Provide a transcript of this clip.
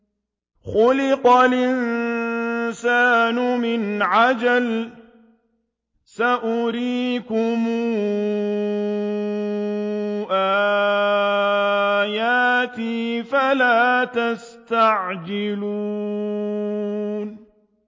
خُلِقَ الْإِنسَانُ مِنْ عَجَلٍ ۚ سَأُرِيكُمْ آيَاتِي فَلَا تَسْتَعْجِلُونِ